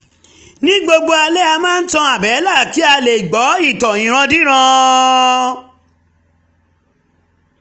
ní gbogbo alẹ́ a máa ń tan àbẹ́là kí a lè gbọ́ ìtàn ìrandíran